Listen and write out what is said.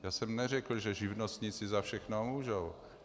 Já jsem neřekl, že živnostníci za všechno můžou.